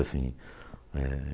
sim. É...